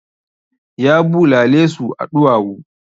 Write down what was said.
Ya bulale su a ɗuwawu.